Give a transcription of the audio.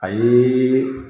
A ye